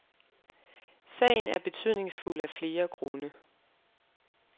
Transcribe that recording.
Sagen er betydningsfuld af flere grunde.